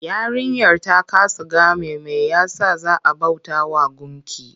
Yarinyar ta kasa game mai ya sa za a bautawa gunki?